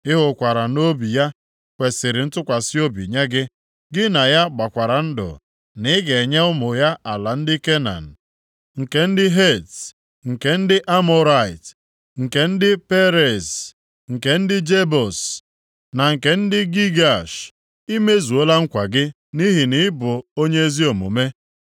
Ị hụkwara nʼobi ya kwesiri ntụkwasị obi nye gị, gị na ya gbakwara ndụ na ị ga-enye ụmụ ya ala ndị Kenan, nke ndị Het, nke ndị Amọrait, nke ndị Periz, nke ndị Jebus na nke ndị Gigash. I mezuola nkwa gị nʼihi na ị bụ onye ezi omume.